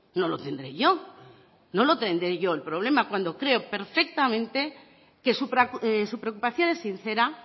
no lo tendré yo no lo tendré yo el problema cuando creo perfectamente que su preocupación es sincera